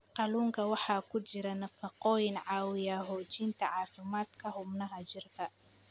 Kalluunka waxaa ku jira nafaqooyin caawiya xoojinta caafimaadka xubnaha jirka.